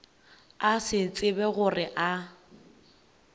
a se tsebe gore a